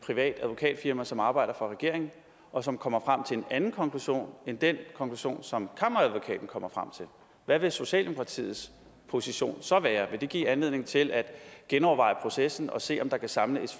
privat advokatfirmas som arbejder for regeringen og som kommer frem til en anden konklusion end den konklusion som kammeradvokaten kommer frem til hvad vil socialdemokratiets position så være vi det give anledning til at genoverveje processen og se om der kan samles